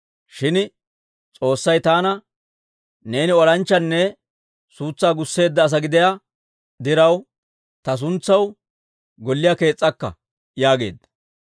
Shin S'oossay taana, ‹Neeni olanchchanne suutsaa gusseedda asaa gidiyaa diraw, ta suntsaw golliyaa kees's'akka› yaageedda.